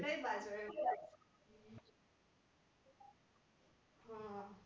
ઈ કઈ બાજુ આહ